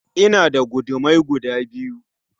Ina da gudumai guda biyu